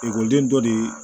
Ekɔliden dɔ de ye